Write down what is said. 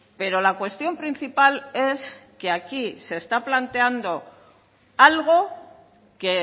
pero la cuestión principal es que aquí se está planteando algo que